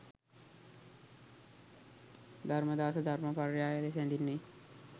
ධම්මාදාස ධර්ම පර්යාය ලෙස හැඳින්වේ.